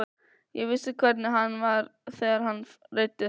Ég vissi hvernig hann var þegar hann reiddist.